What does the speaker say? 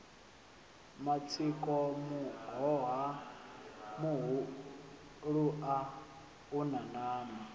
matsiko muhoha muhulua una nama